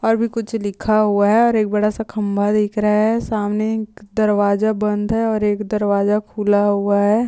और भी कुछ लिखा हुआ है और एक बड़ा सा खम्बा दिख रहा है। सामने एक दरवाजा बंद है और एक दरवाजा खुला हुआ है।